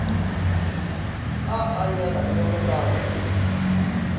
a a nyalanego ka go